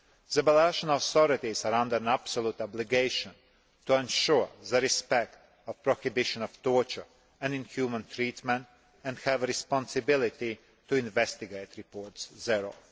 The Belarusian authorities are under an absolute obligation to ensure the respect of the prohibition of torture and inhuman treatment and have a responsibility to investigate reports thereof.